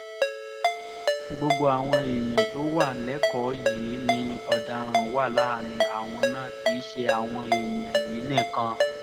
gbogbo àwọn ẹ̀yà tó wà lẹ́kọ̀ọ́ yìí ni ọ̀daràn wà láàrin àwọn náà kì í ṣe àwọn èèyàn yín nìkan